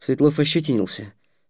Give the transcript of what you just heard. светлов ощетинился